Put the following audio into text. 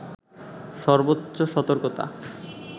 সর্বোচ্চ সতর্কতা